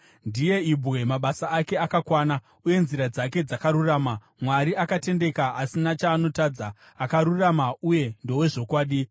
Ndiye ibwe, mabasa ake akakwana, uye nzira dzake dzakarurama. Mwari akatendeka asina chaanotadza, akarurama uye ndowezvokwadi.